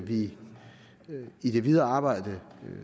vi i det videre arbejde